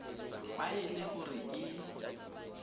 fa e le gore ke